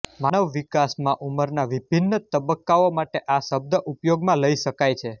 માનવ વિકાસમાં ઉંમરના વિભિન્ન તબક્કાઓ માટે આ શબ્દ ઉપયોગમાં લઈ શકાય છે